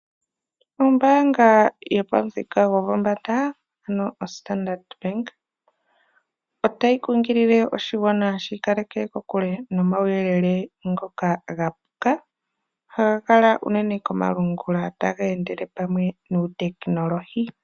Ombaanga yopamuthika gopombanga ano oStandard Bank otayi kunkilile oshigwana shi ikaleke kokule nomauyelele ngoka ga puka haga kala unene komalungula taga endele pamwe nuutekinolohi.